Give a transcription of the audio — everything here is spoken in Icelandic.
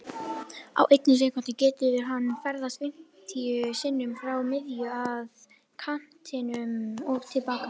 Á einni sekúndu getur hann ferðast fimmtíu sinnum frá miðju, að kantinum og til baka.